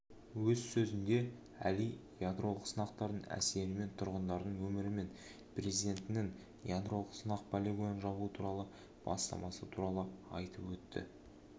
өз сөзінде әли ядролық сынақтардың әсері мен тұрғындардың өмірі мен президентінің ядролық сынақ полигонын жабу туралы бастамасы туралы айтып өтті